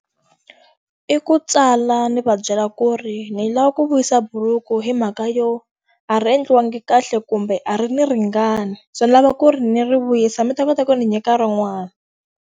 I ku tsala ndzi va byela ku ri ndzi lava ku vuyisa bhuruku hi mhaka yo, a ri endliwanga kahle kumbe a ri ndzi ringani. So ni lava ku ri ndzi ri vuyisa mi ta kota ku ri ndzi nyika rin'wana.